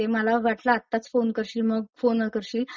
मला वाटलं आत्ताच फोन करशील मग फोन करशील;